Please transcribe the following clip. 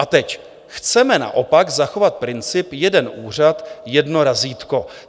A teď: "Chceme naopak zachovat princip jeden úřad, jedno razítko.